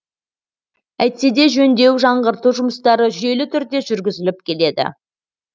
әйтсе де жөндеу жаңғырту жұмыстары жүйелі түрде жүргізіліп келеді